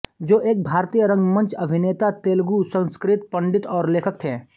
जो एक भारतीय रंगमंच अभिनेता तेलुगुसंस्कृत पंडित और लेखक थें